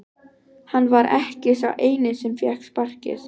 Hann var ekki sá eini sem fékk sparkið.